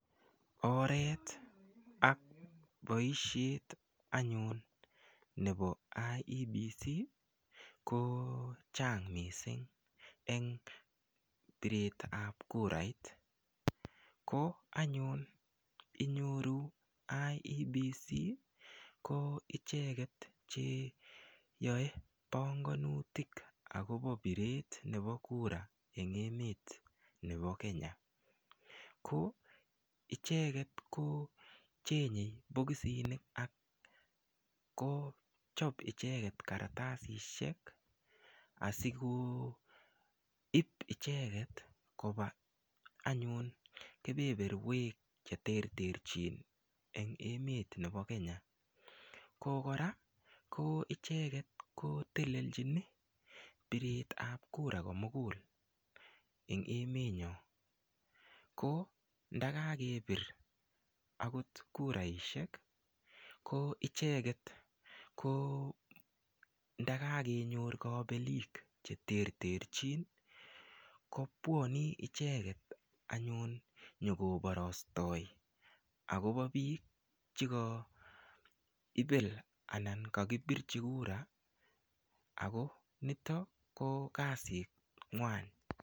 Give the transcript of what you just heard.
Oret ak boisyet anyun nebo IEBC kochang mising eng biretab kurait ,ko anyun inyoru IEBC ko icheket cheyoe banganutik akobo biret nebo kura eng emet nebo Kenya, ko icheket ko che chenge bokosisyek akochob icheket kartasishek asikoib icheket koba anyu kebeberwek cheterterchin eng emet nebo Kenya, koraa ko icheket ko telelchin biretab kura komugul eng emenyon ko ndakakebir akot kuraishek ko icheket ndakakenyor kabelik cheteterchin ko bwane icheket anyun nyekobarastoe akobo bik cheka ibel anan kakibirchi kura ako niton ko kasit nywan.